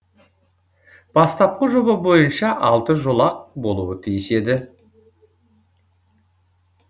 бастапқы жоба бойынша алты жолақ болуы тиіс еді